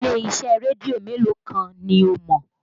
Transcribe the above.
Ilé-iṣẹ́ rédíò mélòó kan ni o mọ̀?